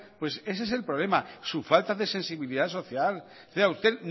pues ese es el problema su falta de sensibilidad social a usted